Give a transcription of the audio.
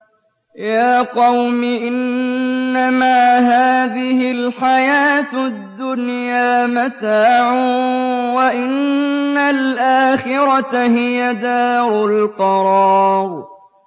يَا قَوْمِ إِنَّمَا هَٰذِهِ الْحَيَاةُ الدُّنْيَا مَتَاعٌ وَإِنَّ الْآخِرَةَ هِيَ دَارُ الْقَرَارِ